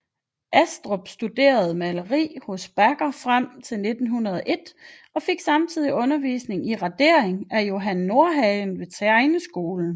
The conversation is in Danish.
Astrup studerte maleri hos Backer frem til 1901 og fikk samtidig undervisning i radering av Johan Nordhagen ved tegneskolen